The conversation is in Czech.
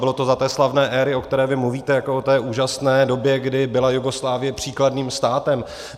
Bylo to za té slavné éry, o které vy mluvíte jako o té úžasné době, kdy byla Jugoslávie příkladným státem.